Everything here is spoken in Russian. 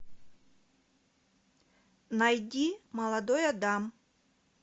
найди молодой адам